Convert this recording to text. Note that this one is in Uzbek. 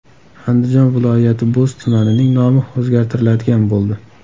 Andijon viloyati Bo‘z tumanining nomi o‘zgartiriladigan bo‘ldi .